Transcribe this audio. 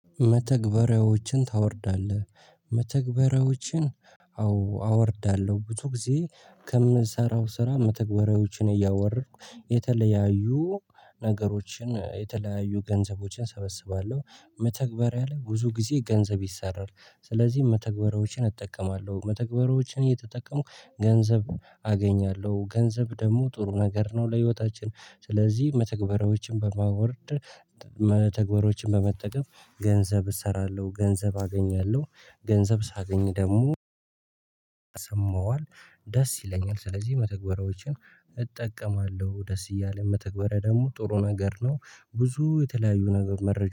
መተግበሪያዎችን ታወርዳለህ? መተግበሪያዎችን አዎ አወርዳለሁ ብዙ ጊዜ ከምሰራው ስራ መተግበሪያዎችን እያወረድኩ የተለያዩ ነገሮችን የተለያዩ ገንዘቦችን እሰበስባለሁ መተግበሪያ ላይ ብዙ ጊዜ ገንዘብ ይሰራል። ስለዚህ መተግበሪያዎችን እጠቀማለሁ። መተግበሪያዎችን እየተጠቀምኩ ገንዘብ አገኛለሁ ገንዘብ ደግሞ ጥሩ ነገር ነው። ለህይወታችን ስለዚህ መተግበሪያዎችን በማወርድ መተግበሪያዎችን በመጠቀም ገንዘብ እሰራለሁ። ገንዘብ አገኛለሁ ገንዘብ ሳገኝ ደግሞ ሰማዋልደስ ይለኛል። ስለዚህ መተግበሪያዎችን እጠቀማለሁ ደስ እያለ መተግበሪያ ደግሞ ጥሩ ነገር ነው። ብዙ የተለያዩ ነገር መረጃ